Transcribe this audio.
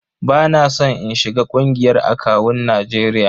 Ba na son in shiga ƙungiyar akawun Najeriya.